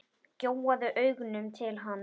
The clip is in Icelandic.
Gjóaði augunum til hans.